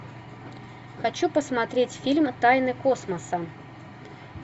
хочу посмотреть фильм тайны космоса